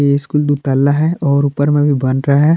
ये स्कूल दुतल्ला है और ऊपर में भी बन रहा है।